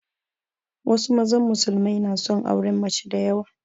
Wasu mazan musulmai na son auren mace da yawa